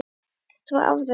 Þetta var afrek.